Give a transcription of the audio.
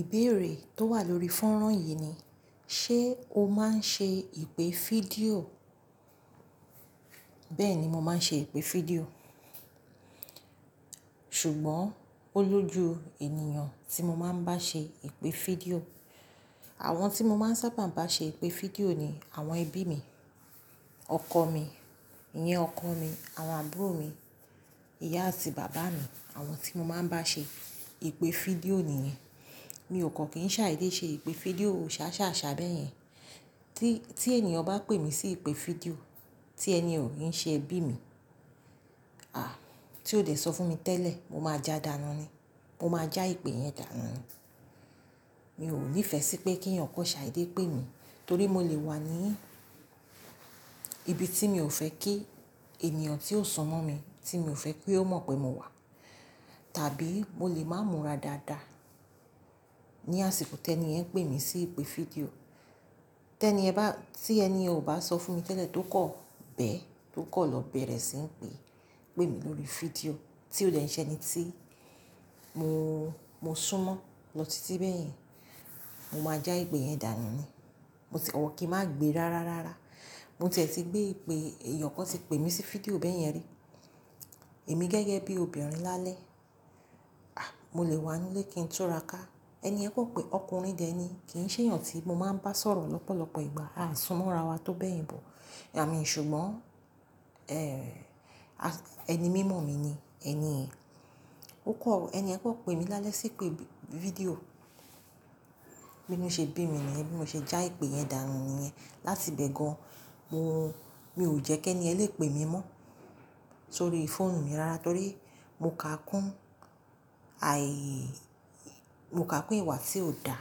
Ìbéèrè tó wà lórí fọ́nrán yìí ni, ṣe o máa ń ṣe ìpè fídíò? Bẹ́ẹ̀ni, mo máa ń ṣe ìpè fídíò. Ṣùgbọ́n ó lójú ènìyàn tí mo máa ń bá ṣe ìpè fídíò. Àwọn tí mo máa ń sábà bá ṣe ìpè fídíò ni àwọn ẹbí mi, ọkọ mi, ìyẹn ọkọ mi, àwọn àbúrò mi, ìyá àti bàbá mi. Àwọn tí mo máa ń bá ṣe ìpè fídíò nìyẹn. Mi ò kọ̀ kí n ṣàídé ṣe ìpè fídíò ṣàṣàṣà bẹ́ yẹn. Tí, tí ènìyàn bá pè mí sí ìpè fídíò tí ẹni ò kí n ṣe ẹbí mi, à, tí ó dẹ̀ sọ fún mi tẹ́lẹ̀, mo máa já dànù ni. Mo máa já ìpè yẹn dànù ni. Mi ò níìfẹ̀ sí pé kí èèìyàn kó ṣà idé pè mí torí mo lè wà ní ibi tí mi ò fẹ́ kí ènìyàn tí ó sunmọ́ mi, tí mi ò fẹ́ kí ó mọ̀ pé mo wà. Tàbí mo lè má múra dáadáa ní àsìkò tí ẹni ẹ̀ pè mí sí ìpè fídíò. Tẹ́ni yẹn bá, tí ẹni yẹn ò bá sọ fún mi tẹ́lẹ̀ tó kọ̀ bẹ́ẹ̀, tó kọ̀ lọ bẹ̀rẹ̀ sí ń pè, pè mí lórí fídíò tí ó dẹ̀ ń ṣe ẹni tí mo, mo súnmọ́ lọ́tí bẹ́ẹ̀ yẹn, mo máa já ìpè yẹn dànù ni. Mo sì, or kí n má gbé rárá rárá. Mo tiẹ̀ ti gbé ìpè, ènìyàn kan ti pè mí sí fídíò bẹ́ẹ̀ yẹn rí. Èmi gẹ́gẹ́ bí obìnrin lálẹ́, à, mo lè wà nínú ilé kí ń túnra ká. Ẹni yẹn kọ pè ọkùnrin dẹ ni, kì í n ṣe èèìyàn tí mo máa ń bá sọ̀rọ̀ lọ́pọ̀lọpọ̀ ìgbà. Àa súnmọ́ ra wa tó bẹ́ẹ̀ bọ̀. Àa mi, ṣùgbọ́n, ẹ́, ẹni mímọ̀ mi ni, ẹniyẹn, ó kọ̀, ẹniyẹn kò pè mí lálẹ́ sí ìpè fídíò bí inú ṣe bí mi nìyẹn, bí mo ṣe já ìpè yẹn dànù nìyẹn. Láti bẹ́ẹ̀ gan, mo, mi ò jẹ́ kí ẹniyẹn lè pè mí mọ́ sórí fóònù mi rárá torí mo kà kún àì, mo kà kún ìwà tí ò dá